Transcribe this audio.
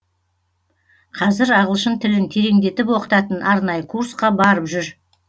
қазір ағылшын тілін тереңдетіп оқытатын арнайы курсқа барып жүр